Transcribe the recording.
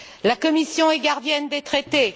La Commission est gardienne des traités.